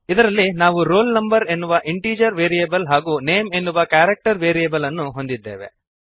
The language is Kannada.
ಇದರಲ್ಲಿ ನಾವು roll no ಎನ್ನುವ ಇಂಟೀಜರ್ ವೇರಿಯಬಲ್ ಹಾಗೂ ನೇಮ್ ಎನ್ನುವ ಕ್ಯಾರೆಕ್ಟರ್ ವೇರಿಯಬಲ್ ಅನ್ನು ಹೊಂದಿದ್ದೇವೆ